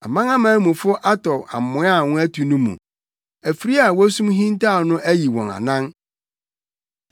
Amanaman mufo atɔ amoa a wɔatu no mu; afiri a wosum hintaw no ayi wɔn anan.